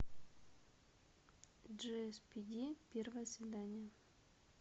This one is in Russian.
джиэспиди первое свидание